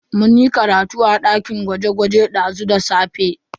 Mun yi karatu a dakin gwaje-gwaje dazu da safe.